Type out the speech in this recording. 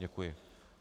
Děkuji.